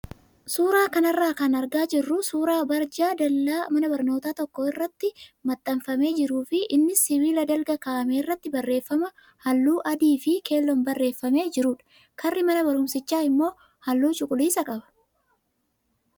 Suuraa kanarraa kan argaa jirru suuraa barjaa dallaa mana barnootaa tokko irrattimaxxanfamee jiruu fi innis sibiila dalga kaa'ame irratti barreeffama halluu adii fi keelloon barreeffamee jirudha. Karri mana barumsichaa immoo halluu cuquliisa qaba.